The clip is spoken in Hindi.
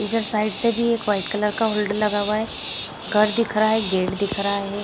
इधर साइड से भी एक वाइट कलर का होल्डर लगा हुआ है घर दिख रहा है गेट दिख रहा है।